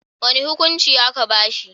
Wani hukuncin a'ka ba shi.